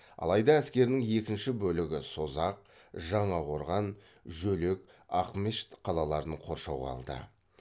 алайда әскерінің екінші бөлігі созақ жаңақорған жөлек ақмешіт қалаларын қоршауға алды